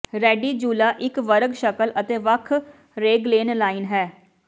ready ਜੂਲਾ ਇੱਕ ਵਰਗ ਸ਼ਕਲ ਅਤੇ ਵੱਖ ਰੇਗ੍ਲੇਨ ਲਾਈਨ ਹੈ